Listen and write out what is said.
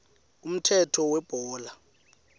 umthetho webhola